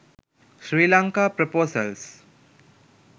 sri lanka proposals